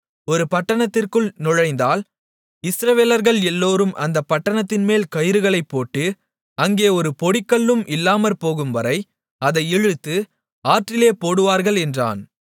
ஒரு பட்டணத்திற்குள் நுழைந்தால் இஸ்ரவேலர்கள் எல்லோரும் அந்தப் பட்டணத்தின்மேல் கயிறுகளைப் போட்டு அங்கே ஒரு பொடிக்கல்லும் இல்லாமற்போகும்வரை அதை இழுத்து ஆற்றிலே போடுவார்கள் என்றான்